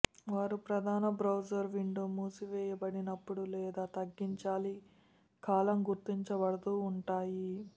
వారు ప్రధాన browser window మూసివేయబడినప్పుడు లేదా తగ్గించాలి కాలం గుర్తించబడదు ఉంటాయి